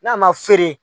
N'a ma feere